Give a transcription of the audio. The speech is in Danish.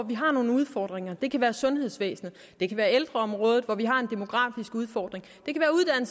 hvor vi har nogle udfordringer det kan være sundhedsvæsenet det kan være ældreområdet hvor vi har en demografisk udfordring